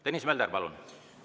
Tõnis Mölder, palun!